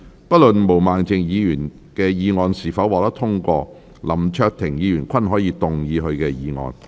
不論毛孟靜議員的議案是否獲得通過，林卓廷議員均可動議他的議案。